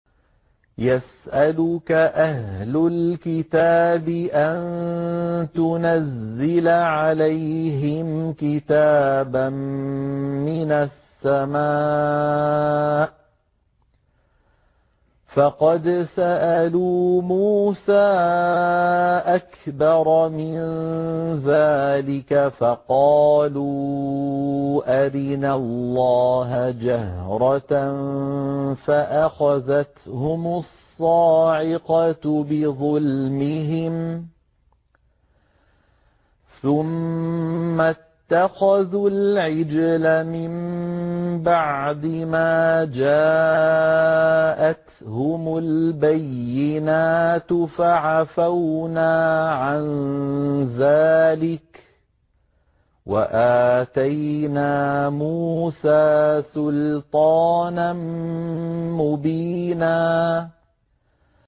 يَسْأَلُكَ أَهْلُ الْكِتَابِ أَن تُنَزِّلَ عَلَيْهِمْ كِتَابًا مِّنَ السَّمَاءِ ۚ فَقَدْ سَأَلُوا مُوسَىٰ أَكْبَرَ مِن ذَٰلِكَ فَقَالُوا أَرِنَا اللَّهَ جَهْرَةً فَأَخَذَتْهُمُ الصَّاعِقَةُ بِظُلْمِهِمْ ۚ ثُمَّ اتَّخَذُوا الْعِجْلَ مِن بَعْدِ مَا جَاءَتْهُمُ الْبَيِّنَاتُ فَعَفَوْنَا عَن ذَٰلِكَ ۚ وَآتَيْنَا مُوسَىٰ سُلْطَانًا مُّبِينًا